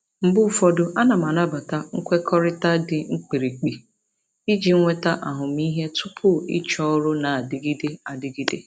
Mgbe ụfọdụ, ana m anabata nkwekọrịta dị mkpirikpi iji nweta ahụmịhe tupu ịchọọ ọrụ na-adịgide adịgide.